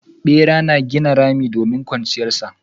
Bera a gina rami domin kwanciyar su.